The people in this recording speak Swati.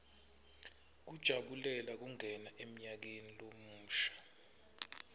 kujabulela kungena emnyakeni lomusha